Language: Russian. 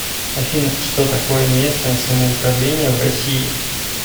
афина что такое местное самоуправление в россии